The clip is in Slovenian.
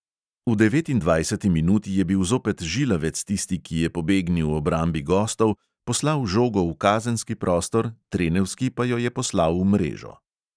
V devetindvajseti minuti je bil zopet žilavec tisti, ki je pobegnil obrambi gostov, poslal žogo v kazenski prostor, trenevski pa jo je poslal v mrežo.